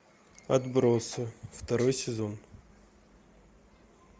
отбросы второй сезон